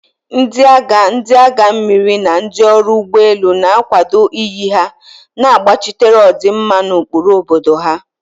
Ndị agha, ndị agha mmiri, na ndị ọrụ ụgbọ elu na-akwado iyi ha, na-agbachitere ọdịmma na ụkpụrụ obodo ha.